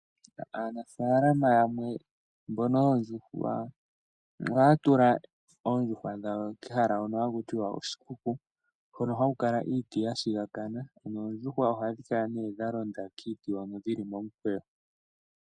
Aanafaalama yamwe mbono yoondjuhwa ohaya tula oondjuhwa dhawo kehala hono hakutiwa oshikuku, hono haku kala iiti ya shigakana, noondjuhwa ohadhi kala nee dha londa kiiti hono dhili momukweyo.